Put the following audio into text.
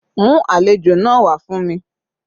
Mú àlejò náà wá fún mi.